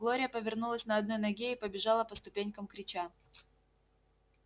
глория повернулась на одной ноге и побежала по ступенькам крича